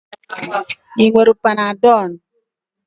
Ị nwere panadol?